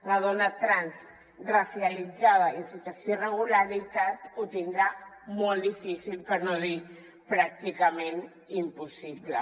una dona trans ra·cialitzada i en situació d’irregularitat ho tindrà molt difícil per no dir pràcticament impossible